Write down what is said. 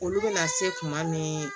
Olu bɛna se kuma min